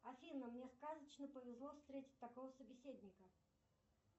афина мне сказочно повезло встретить такого собеседника